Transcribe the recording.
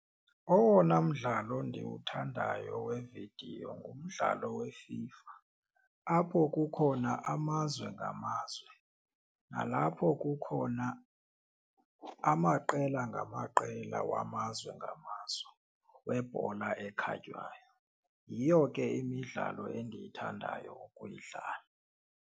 Owona mdlalo ndiwuthandayo wevidiyo ngumdlalo weFIFA apho kukhona amazwe ngamazwe nalapho kukhona amaqela ngamaqela wamazwe ngamazwe webhola ekhatywayo. Yiyo ke imidlalo endiyithandayo ukuyidlala.